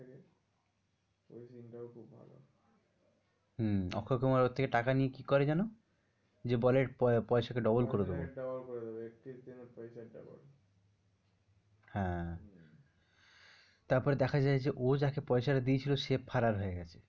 হম্ম অক্ষয় কুমার ওর থেকে টাকা নিয়ে কি করে যেন? যে বলে পয়সাকে double করে দেব পয়সাকে double করে দেব একুশ দিনে পয়সা double হ্যাঁ তারপরে দেখা যায় যে ও যাকে পয়সটা দিয়েছিল সে ফারার হয়ে গেছে।